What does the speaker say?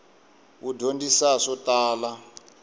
wu dyondzisa swo tala